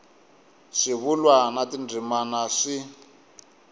swivulwa na tindzimana swi